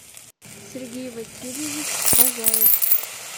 сергей васильевич базаев